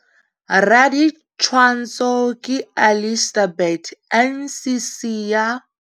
Raditshwantsho ke Alistair Burt - NCC ya.